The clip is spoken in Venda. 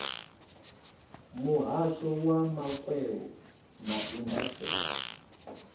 muhasho wa makwevho na indasiteri